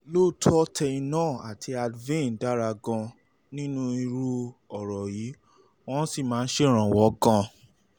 lóòótọ́ tylenol um àti advil um dára gan-an nínú irú ọ̀rọ̀ yìí wọ́n sì máa ń ṣèrànwọ́ gan-an